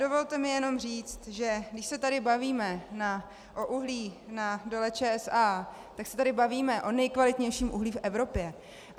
Dovolte mi jenom říci, že když se tady bavíme o uhlí na Dole ČSA, tak se tady bavíme o nejkvalitnějším uhlí v Evropě.